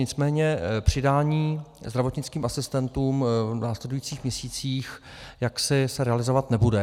Nicméně přidání zdravotnickým asistentům v následujících měsících jaksi se realizovat nebude.